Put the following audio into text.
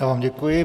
Já vám děkuji.